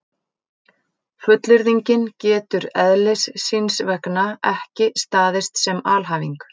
Fullyrðingin getur eðlis síns vegna ekki staðist sem alhæfing.